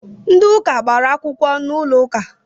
Ndi ụka gbara akwụkwọ n'ụlọ uka